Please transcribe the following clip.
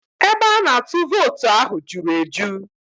Ebe a na-atụ vootu ahụ juru eju